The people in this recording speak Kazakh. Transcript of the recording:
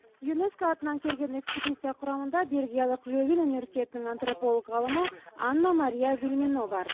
юнеско атынан келген экспедиция құрамында бельгиялық лёвен университетінің антрополог ғалымы анна мария вильмено бар